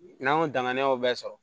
N'an y'o danganiyaw bɛɛ sɔrɔ